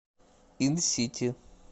инсити